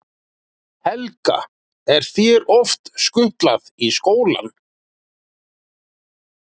Helga: Er þér oft skutlað í skólann?